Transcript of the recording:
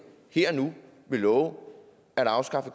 her og nu vil love at afskaffe